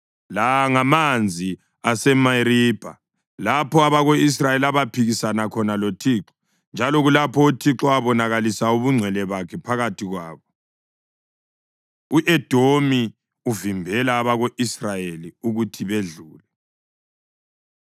La ngamanzi aseMeribha, lapho abako-Israyeli abaphikisana khona loThixo njalo kulapho uThixo abonakalisa ubungcwele bakhe phakathi kwabo. U-Edomi Uvimbela Abako-Israyeli Ukuthi Bedlule